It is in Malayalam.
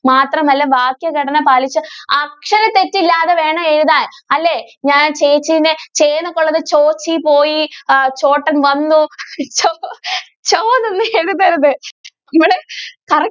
മാത്രം അല്ല വാക്യഘടന പാലിച്ചു അക്ഷര തെറ്റില്ലാതെ വേണം എഴുതാൻ അല്ലെ ഞാൻ ചേച്ചിയുടെ ചെ എന്നുള്ളത് ചോ ചി പോയി ചോ ട്ടൻ വന്നു ചോ എന്നൊന്നും എഴുതരുത്.